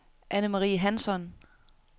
Anne-Marie Hansson